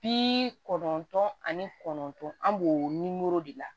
Bi kɔnɔntɔn ani kɔnɔntɔn an b'o nimoro de la